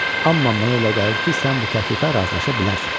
Amma mənə elə gəlir ki, sən bu təklifə razılaşa bilərsən."